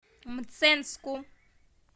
мценску